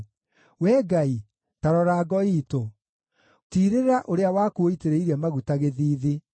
Wee Ngai, ta rora ngo iitũ; tiirĩra ũrĩa waku ũitĩrĩirie maguta gĩthiithi.